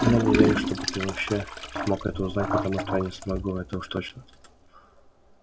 и я не верю чтобы ты вообще смог это узнать потому что я не смогу это уж точно